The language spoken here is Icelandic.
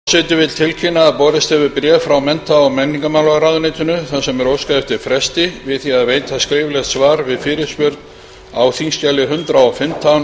forseti vill tilkynna að borist hefur bréf frá mennta og menningarmálaráðuneytinu þar sem er óskað eftir fresti við því að veita skriflegt svar við fyrirspurn á þingskjali hundrað